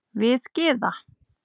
Við Gyða